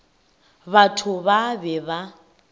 batho ba ba be ba